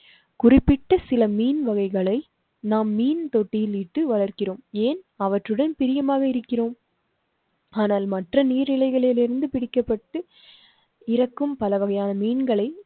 குறிப்பிட்ட சில மீன்வகைகளை நம் மீன் தொட்டிலில் இட்டு வளர்க்கிறோம். ஏன் அவற்றுடன் பிரியமாக இருக்கிறோம். ஆனால் மற்ற நீர்நிலைகளில் இருந்து பிரிக்கப்பட்டு இறக்கும் பல வகையான மீன்களை